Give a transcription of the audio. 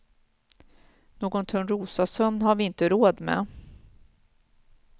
Någon törnrosasömn har vi inte råd med.